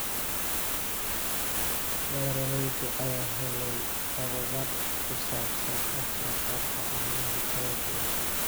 Beeralayda ayaa helaya tababar ku saabsan wax soo saarka caanaha tayada leh.